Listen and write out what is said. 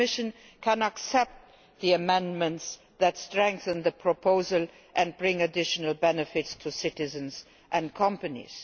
The Commission can accept the amendments, which strengthen the proposal and bring additional benefits to citizens and companies.